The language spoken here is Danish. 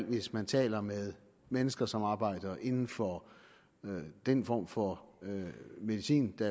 hvis man taler med mennesker som arbejder inden for den form for medicin der